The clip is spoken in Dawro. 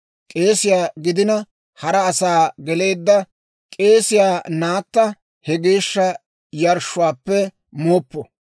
K'eesiyaa gidenna hara asaa geleedda k'eesiyaa naatta he geeshsha yarshshuwaappe muuppu.